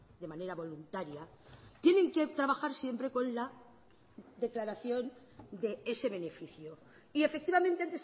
de manera voluntaria tienen que trabajar siempre con la declaración de ese beneficio y efectivamente